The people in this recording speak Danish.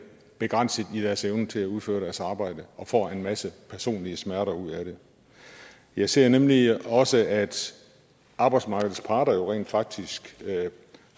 begrænset i deres evne til at udføre deres arbejde og får en masse personlige smerter ud af det jeg ser nemlig også at arbejdsmarkedets parter rent faktisk